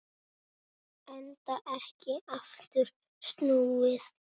Enda ekki aftur snúið.